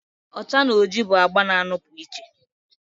ọcha na oji bụ agba na-anọpụ iche